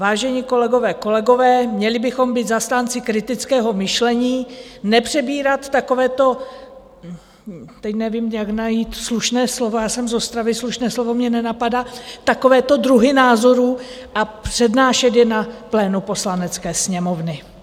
Vážení kolegové, kolegyně, měli bychom být zastánci kritického myšlení, nepřebírat takovéto - teď nevím, jak najít slušné slovo, já jsem z Ostravy, slušné slovo mě nenapadá - takovéto druhy názorů a přednášet je na plénu Poslanecké sněmovny.